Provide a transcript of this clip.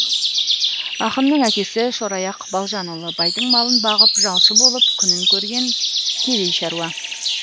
ақынның әкесі шораяқ балжанұлы байдың малын бағып жалшы болып күнін көрген кедей шаруа